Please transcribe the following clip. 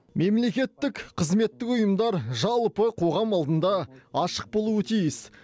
мемлекеттік қызметтік ұйымдар жалпы қоғам алдында ашық болуы тиіс